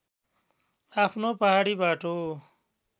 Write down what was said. आफ्नो पहाडी बाटो